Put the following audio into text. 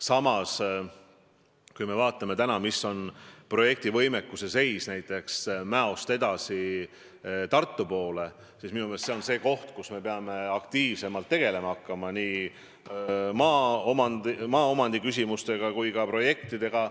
Samas, kui me vaatame projekti võimekuse seisu, siis Mäost edasi Tartu poole me peame aktiivsemalt tegelema hakkama nii maaomandi küsimustega kui ka projektidega.